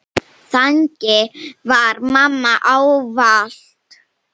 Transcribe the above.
Þannig var mamma ávallt.